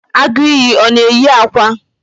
Agu iyi ọ na-eyi akwa?